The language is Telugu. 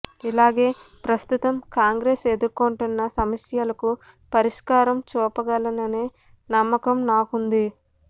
ఇలాగే ప్రస్తుతం కాంగ్రెస్ ఎదుర్కొంటున్న సమస్యలకు పరిష్కారం చూపగలననే నమ్మకం నాకుంది